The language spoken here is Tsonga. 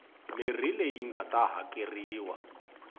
mirhi leyi nga ta hakeriwa